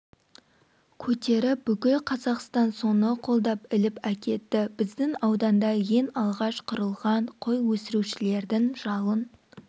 көтеріп бүкіл қазақстан соны қолдап іліп әкетті біздің ауданда ең алғаш құрылған қой өсірушілердің жалын